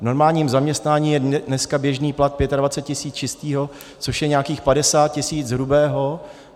V normálním zaměstnání je dneska běžný plat 25 tisíc čistého, což je nějakých 50 tisíc hrubého.